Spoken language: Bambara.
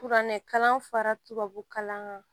Kuranɛkalan fara tubabu kalan kan